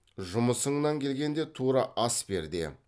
жұмысыңнан келгенде тура ас бер де